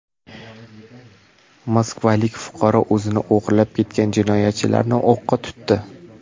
Moskvalik fuqaro o‘zini o‘g‘irlab ketgan jinoyatchilarni o‘qqa tutdi.